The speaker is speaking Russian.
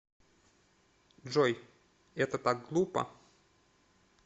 джой это так глупо